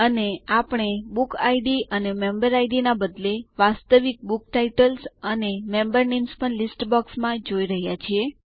અને આપણે book IDs અને મેમ્બર આઇડીએસ ના બદલે વાસ્તવિક બુક ટાઇટલ્સ અને મેમ્બર નેમ્સ પણ લીસ્ટ બોક્સમાં જોઈ રહ્યા છીએ